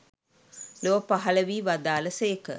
ලොව පහළ වී වදාළ සේක.